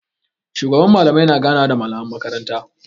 Shugaban Mallamai na ganawa da malaman makaranta.